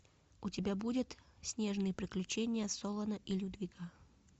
у тебя будет снежные приключения солана и людвига